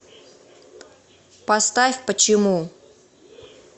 поставь почему